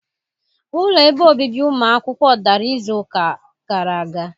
Ụlọ ebe obibi ụmụ akwụkwọ dara izu ụka gara aga.